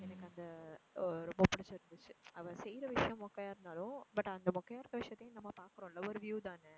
எனக்கு அந்த எர் ரொம்ப புடிச்சி இருந்துச்சு. அவ செய்ற விஷயம் மொக்கையா இருந்தாலும் but அந்த மொக்கையா இருக்குற விஷயத்தையும் நம்ம பார்க்குறோம்ல ஒரு view தானே.